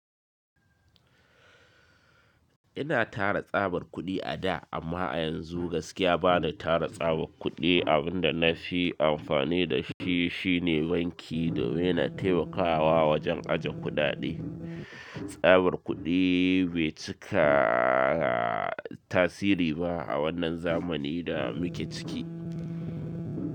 Ina tara tsabar kuɗi a da amma a yanzu gaskiya ba na tara tsabar kuɗi. Abin da na fi amfani da shi shine banki domin na taimakawa wajen ajiye kuɗaɗe. Tsabar kuɗi bai cika tasiri ba a wannan zamani da muke ciki.